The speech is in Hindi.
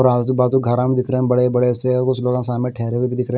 और आजू बाजू घरां भी दिख रहे हैं बड़े बड़े से और कुछ लोग में ठहरे हुए भी दिख रहे।